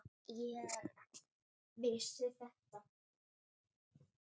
Ég vissi þetta!